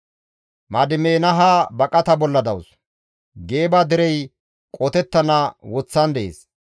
Madimeenaha baqata bolla dawus; Geeba derey qotettana woththan dees.